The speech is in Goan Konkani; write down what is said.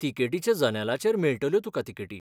तिकेटीच्या जनेलाचेर मेळटल्यो तुका तिकेटी.